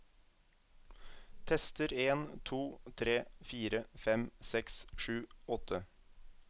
Tester en to tre fire fem seks sju åtte